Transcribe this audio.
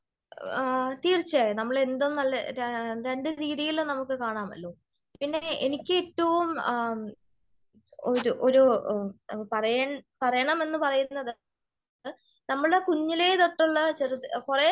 ആ തീർച്ചയായും നമ്മൾ എന്തോ നല്ല രണ്ടു രീതിയിലും നമുക്ക് കാണാമല്ലോ? പിന്നെ എനിക്ക് ഏറ്റവും ഒരു ഒരു പറയ് പറയണമെന്ന് പറയുന്നത് നമ്മള് കുഞ്ഞിലേ തൊട്ടുള്ള ചെറുത് കുറെ വർഷ